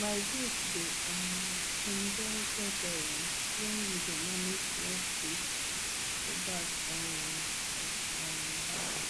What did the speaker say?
my goat dey um enjoy tethering when we dey manage small space for back um of um house